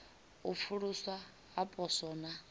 u pfuluswa ha poswo na